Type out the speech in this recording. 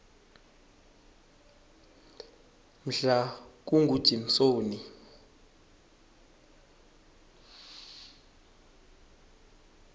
mhlakungujimsoni